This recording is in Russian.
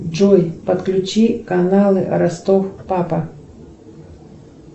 джой подключи каналы ростов папа